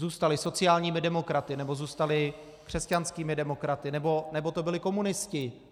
Zůstali sociálními demokraty, nebo zůstali křesťanskými demokraty, nebo to byli komunisti.